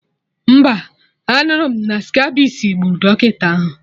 Mba, anụrụ m na skabisi gburu dọkịta ahụ